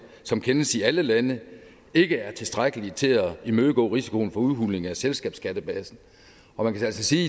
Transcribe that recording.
som kendes i alle lande ikke er tilstrækkelige til at imødegå risikoen for udhuling af selskabsskattebasen man kan altså sige